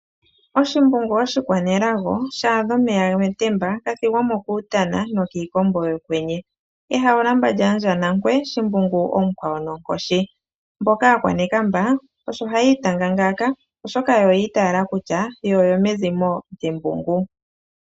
Oshimbungu oshikwanelago shaadha omeya metemba, gathigwamo kuutana nokiikombo yokwenye. Hawulamba lyandjaa Nankwe Shimbungu omukwawo nonkoshi. Aakwanekamba osho hayiitanga ngaaka oshoka oyi itaala kutya oyo yo mezimo lyembungu.